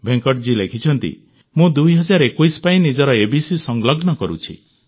ଭେଙ୍କଟଜୀ ଲେଖିଛନ୍ତି ମୁଁ 2021 ପାଇଁ ନିଜର ଏବିସି ସଂଲଗ୍ନ କରୁଛି